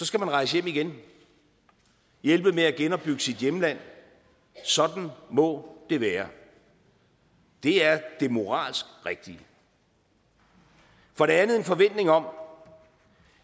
skal man rejse hjem igen hjælpe med at genopbygge sit hjemland sådan må det være det er det moralsk rigtige for det andet en forventning om